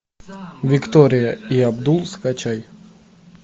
виктория и абдул скачай